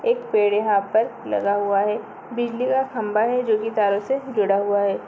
एक पेड़ यहाॅं पर लगा हुआ है बिजली का खम्भा है जोकि तारों से जुड़ा हुआ है।